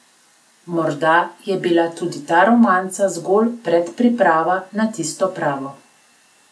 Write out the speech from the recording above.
Morda je bila tudi ta romanca zgolj predpriprava na tisto pravo.